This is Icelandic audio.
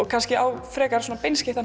kannski á frekar